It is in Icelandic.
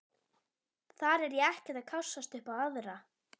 Þar er ég ekkert að kássast upp á aðra.